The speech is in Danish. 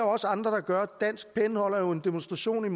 også andre der gør dansk pen holder jo en demonstration